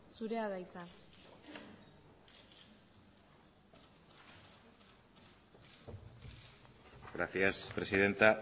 zurea da hitza gracias presidenta